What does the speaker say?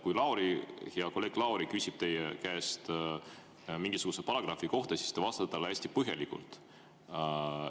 Kui hea kolleeg Lauri küsib teie käest mingisuguse paragrahvi kohta, siis te vastate talle hästi põhjalikult.